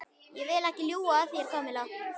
Ég vil ekki ljúga að þér, Kamilla.